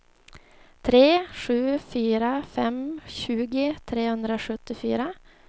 tre sju fyra fem tjugo trehundrasjuttiofyra